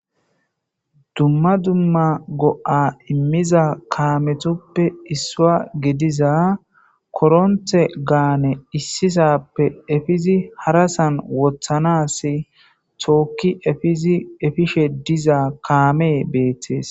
dumma dumma go7a immiza kaametoppe issua gediza koronthe gaane issisappe efizi harasan wothanas tookki efishe diza kaame beethtees